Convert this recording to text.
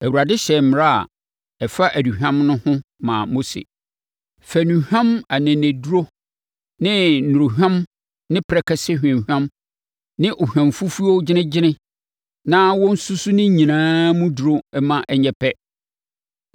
Awurade hyɛɛ mmara a ɛfa aduhwam no ho maa Mose sɛ, “Fa nnuhwam aneneduro ne nworahwam ne prɛkɛsɛ hwamhwam ne ohwamfufuo gyenegyene na wɔnsusu ne nyinaa mu duru ma ɛnyɛ pɛ,